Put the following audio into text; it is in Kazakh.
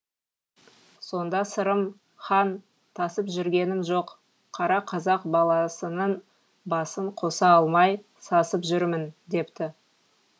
сонда сырым хан тасып жүргенім жоқ қара қазақ баласының басын қоса алмай сасып жүрмін депті